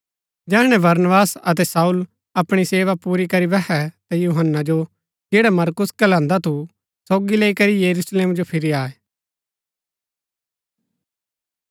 जैहणै बरनबास अतै शाऊल अपणी सेवा पुरी करी बैहै ता यूहन्‍ना जो जैडा मरकुस कहलान्दा थु सोगी लैई करी यरूशलेम जो फिरी आये